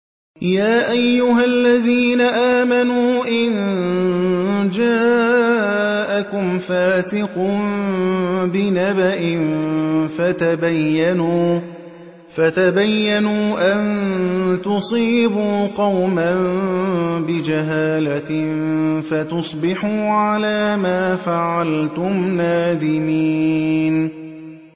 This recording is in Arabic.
يَا أَيُّهَا الَّذِينَ آمَنُوا إِن جَاءَكُمْ فَاسِقٌ بِنَبَإٍ فَتَبَيَّنُوا أَن تُصِيبُوا قَوْمًا بِجَهَالَةٍ فَتُصْبِحُوا عَلَىٰ مَا فَعَلْتُمْ نَادِمِينَ